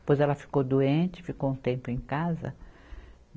Depois ela ficou doente, ficou um tempo em casa.